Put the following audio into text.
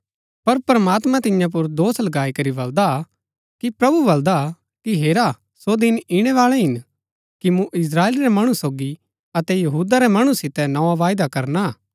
पर प्रमात्मां तियां पुर दोष लगाई करी बलदा कि प्रभु बलदा कि हेरा सो दिन ईणैबाळै हिन कि मूँ इस्त्राएल रै मणु सोगी अतै यहूदा रै मणु सितै नोआ वायदा करना हा